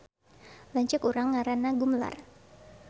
Lanceuk urang ngaranna Gumelar